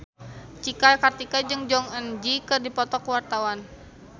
Cika Kartika jeung Jong Eun Ji keur dipoto ku wartawan